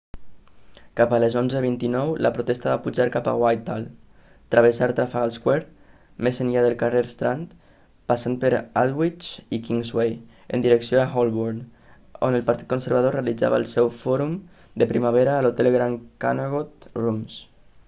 cap a les 11:29 la protesta va pujar cap a whithall travessar trafalgar square més enllà del carrer strand passant per aldwych i kingsway en direcció a holborn on el partit conservador realitzava el seu fòrum de primavera a l'hotel grand connaught rooms